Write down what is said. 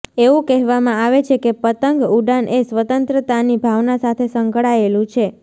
એવું કહેવામાં આવે છે કે પતંગ ઉડાન એ સ્વતંત્રતાની ભાવના સાથે સંકળાયેલું છે